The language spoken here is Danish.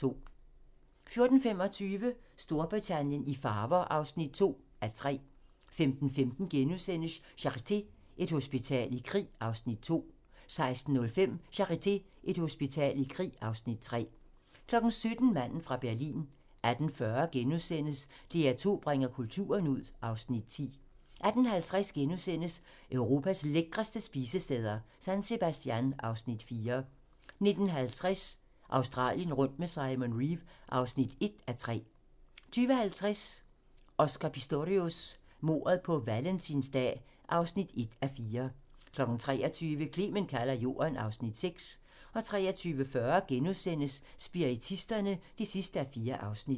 14:25: Storbritannien i farver (2:3) 15:15: Charité - Et hospital i krig (Afs. 2)* 16:05: Charité - Et hospital i krig (Afs. 3) 17:00: Manden fra Berlin 18:40: DR2 bringer kulturen ud (Afs. 10)* 18:50: Europas lækreste spisesteder - San Sebastian (Afs. 4)* 19:50: Australien rundt med Simon Reeve (1:3) 20:50: Oscar Pistorius: Mordet på valentinsdag (1:4) 23:00: Clement kalder jorden (Afs. 6) 23:40: Spiritisterne (4:4)*